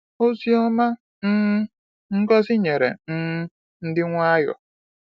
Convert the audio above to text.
Ozi Ọma um Ngọzi nyere um ndị Nwayọọ.